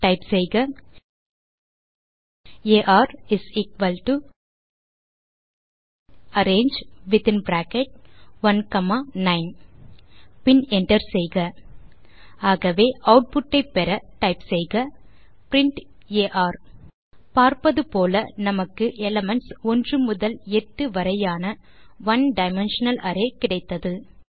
type செய்க r arange within bracket 1 comma 9 பின் enter செய்க ஆகவே ஆட்புட் ஐ பெற டைப் செய்க பிரின்ட் ஆர் பார்ப்பது போல நமக்கு எலிமென்ட்ஸ் 1 முதல் 8 வரையான ஒனே டைமென்ஷனல் அரே கிடைத்தது